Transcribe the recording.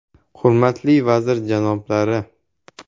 Hurmatli vazir janoblari!